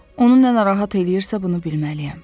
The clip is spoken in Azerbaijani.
Onu nə narahat eləyirsə, bunu bilməliyəm.